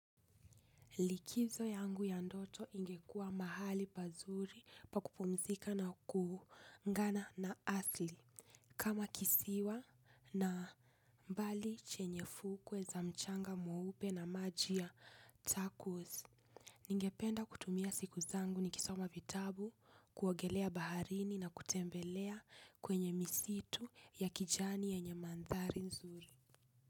Likizo yangu ya ndoto ingekuwa mahali pazuri pa kupumzika na kuungana na asli kama kisiwa na mbali chenye fukwe za mchanga mweupe na maji ya takos. Ningependa kutumia siku zangu nikisoma vitabu kuogelea baharini na kutembelea kwenye misitu ya kijani yenye mandhari nzuri.